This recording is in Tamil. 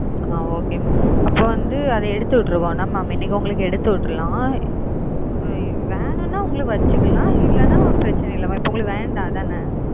okay அப்பாவந்து அத எடுத்து விற்றவ இன்னக்கி உங்களுக்கு எடுத்து விட்ரலா வேணுனா வச்சிக்கல இல்லனா பிரச்சனை இல்ல இப்போ உங்களுக்கு வென அப்படித்தானா